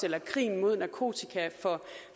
eller krigen mod narkotika